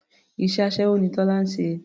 Iṣẹ́ aṣẹ́wó ni Tọ́lá ń ṣe.